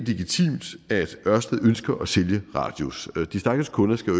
det er at ørsted ønsker at sælge radius de stakkels kunder skal